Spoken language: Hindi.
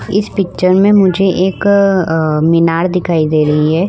इस पिक्चर में मुझे एक मीनार दिखाई दे रही है।